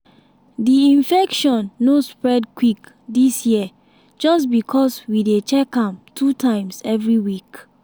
di infection no spread quick dis year just because we dey check am two times every week.